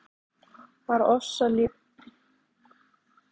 Bara ofboðlítið hvæs og síðan geispi